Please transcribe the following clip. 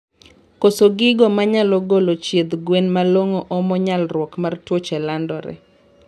Koso gigo manyalo golo chiedh gwen malongo omo nyalruok mar tuoche landore